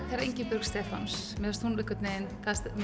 þegar Ingibjörg Stefáns fór mér finnst hún einhvern veginn